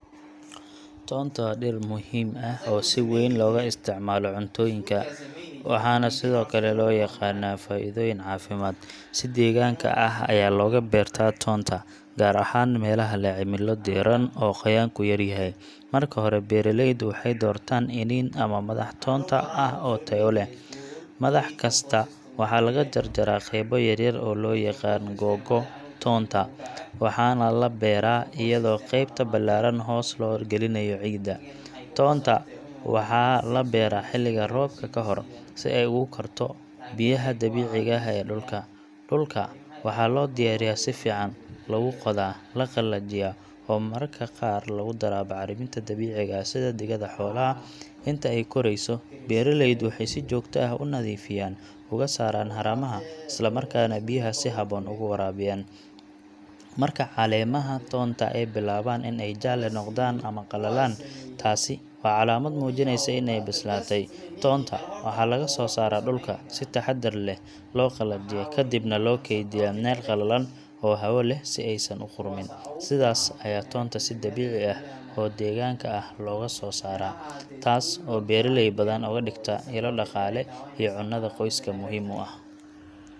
Toonta waa dhir muhiim ah oo si weyn looga isticmaalo cuntooyinka, waxaana sidoo kale loo yaqaannaa faa’iidooyin caafimaad. Si deegaanka ah ayaa looga beeraa toonta, gaar ahaan meelaha leh cimilo diiran oo qoyaanku yar yahay. Marka hore, beeraleydu waxay doortaan iniin ama madax toonta ah oo tayo leh. Madax kasta waxaa laga jarjaraa qaybo yar-yar oo loo yaqaan "googo’ toonta", waxaana la beeraa iyadoo qaybta ballaaran hoos loo gelinayo ciidda. Toonta waxaa la beeraa xilliga roobka ka hor, si ay ugu korto biyaha dabiiciga ah ee dhulka. Dhulka waxaa loo diyaariyaa si fiican—lagu qodaa, la qalajiyaa oo mararka qaar lagu daraa bacriminta dabiiciga ah sida digada xoolaha. Inta ay korayso, beeraleydu waxay si joogto ah u nadiifiyaan, uga saaraan haramaha, isla markaana biyaha si habboon ugu waraabiyaan. Marka caleemaha toonta ay bilaabaan in ay jaalle noqdaan ama qalalaan, taasi waa calaamad muujinaysa in ay bislaatay. Toonta waxaa laga soo saaraa dhulka, si taxaddar leh loo qalajiyaa, ka dibna loo kaydiyaa meel qallalan oo hawo leh si aysan u qudhmin. Sidaas ayaa toonta si dabiici ah oo deegaanka ah looga soo saaraa, taas oo beeraley badan uga dhigta ilo dhaqaale iyo cunnada qoyska muhiim u ah.